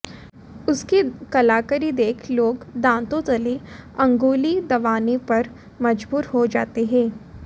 उसकी कलाकारी देख लोग दांतों तले अंगुली दबाने पर मजबूर हो जाते हैं